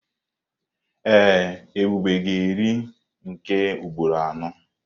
Ee, Ebube ga-eri nke ugboro anọ.